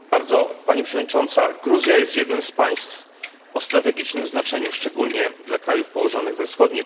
Gruzja jest jednym z państw o strategicznym znaczeniu, szczególnie dla krajów położonych we wschodniej części Unii Europejskiej.